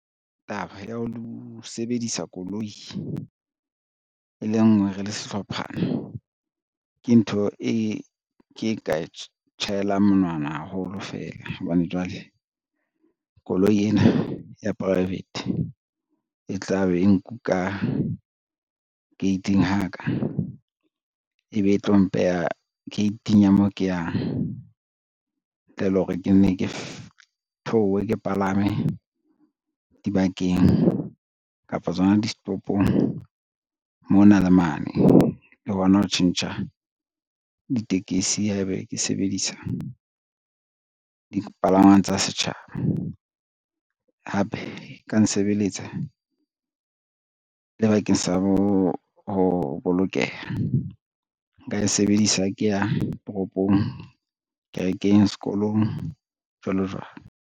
Taba ya ho sebedisa koloi e le nngwe re le sehlophana ke ntho e ke ka tjhaelang monwana haholo fela hobane jwale, koloi ena ya private e tla be e nkuka gate-ing ha ka, ebe e tlo mpeha gate-ing ya moo ke yang, ntle le hore ke nne ke theohe ke palame dibakeng, kapa tsona di setopong mona le mane. Le hona ho tjhentjha ditekesi ha ebe ke sebedisa dipalangwang tsa setjhaba, hape e ka nsebeletsa le bakeng sa ho bolokeha, nka e sebedisa ha ke ya toropong kerekeng, sekolong, jwalo jwalo.